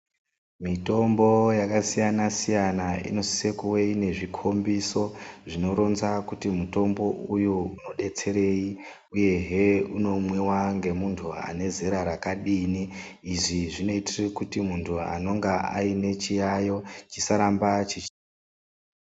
Mitombo yakasiyana siyana inosise kuve inezvikombiso zvinoronza kuti mutombo uyu unodetserei uye he unomwiwa ngemuntu unezera rakadini izvi zvinoitire kuti muntu anenge anechiyayiyo chisaramba chichi.